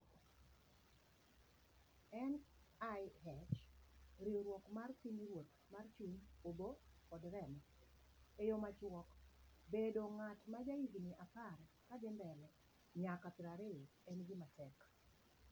NIH: Riwruok mar Pinyruoth mar Chuny, Obo, kod Remo. E yo machuok: Bedo ng�at ma jahigni apar kadhi mbele nyaka prario en gima tek..